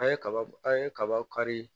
An ye kaba an ye kaba kari